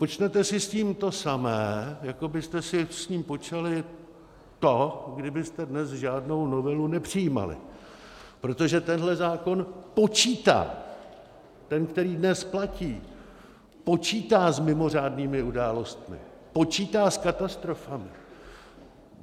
Počnete si s tím to samé, jako byste si s tím počali to, kdybyste dnes žádnou novelu nepřijímali, protože tenhle zákon počítá, ten, který dnes platí, počítá s mimořádnými událostmi, počítá s katastrofami.